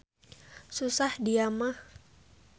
Susah dia mah.